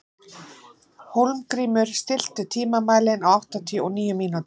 Hólmgrímur, stilltu tímamælinn á áttatíu og níu mínútur.